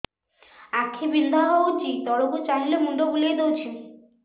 ଆଖି ବିନ୍ଧା ହଉଚି ତଳକୁ ଚାହିଁଲେ ମୁଣ୍ଡ ବୁଲେଇ ଦଉଛି